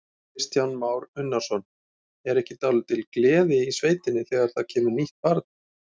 Kristján Már Unnarsson: Er ekki dálítil gleði í sveitinni þegar það kemur nýtt barn?